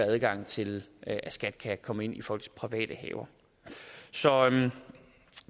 adgang til at komme ind i folks private haver så